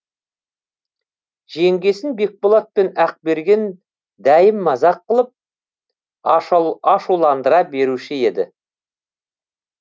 жеңгесін бекболат пен ақберген дәйім мазақ қылып ашуландыра беруші еді